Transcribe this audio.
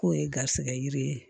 K'o ye garisɛgɛ yiri ye